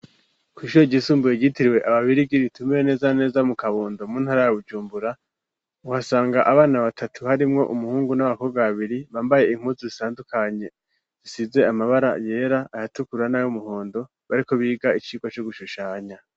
Kwi, shuri ryisumbuye ryitiriwe ababirigi ritumbereye neza neza mu kabondo mu ntara ya bujumbura uhasanga abana batatu harimwo umuhungu n'abakobwa babiri bambaye impuzu zitandukanye zisize amabara yera ayatukura n'ay' umuhondo bariko biga icikwa co gushushanya